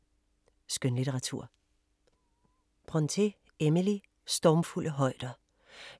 Skønlitteratur